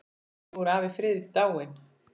Nú er afi Friðrik dáinn.